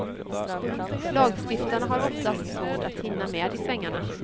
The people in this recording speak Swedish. Lagstiftarna har oftast svårt att hinna med i svängarna.